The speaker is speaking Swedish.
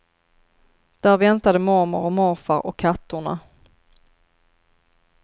Där väntade mormor och morfar och kattorna.